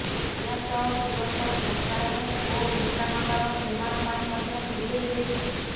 ଏହାସହ ତୁରନ୍ତ ଶୌଚାଳୟ ଓ ବିଶ୍ରାମାଗାର ନିର୍ମାଣ ପାଇଁ ମଧ୍ୟ ନିର୍ଦ୍ଦେଶ ଦେଇଥିଲେ